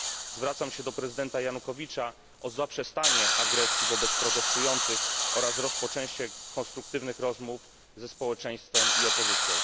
Zwracam się do prezydenta Janukowycza o zaprzestanie agresji wobec protestujących oraz rozpoczęcie konstruktywnych rozmów ze społeczeństwem i opozycją.